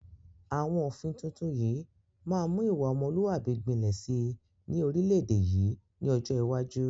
Àwọn òfin tuntun yìí máa mu ìwà ọmọlúwàbí gbinlẹ síí ni orílédé yìí ni ọjọ́ iwájú